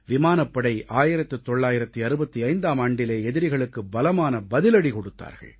விமானப்படை 1965ஆம் ஆண்டிலே எதிரிகளுக்கு பலமான பதிலடி கொடுத்தார்கள்